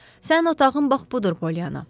Sənin otağın bax budur, Polyanna.